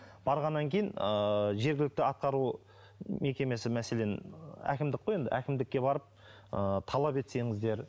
барғаннан кейін ыыы жергілікті атқару мекемесі мәселен әкімдік қой енді әкімдікке барып ы талап етсеңіздер